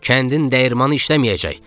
Kəndin dəyirmanı işləməyəcək.